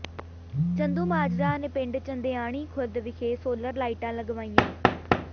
ਚੰਦੂਮਾਜਰਾ ਨੇ ਪਿੰਡ ਚੰਦਿਆਣੀ ਖ਼ੁਰਦ ਵਿਖੇ ਸੋਲਰ ਲਾਈਟਾਂ ਲਗਵਾਈਆਂ